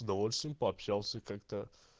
с удовольствием пообщался как-то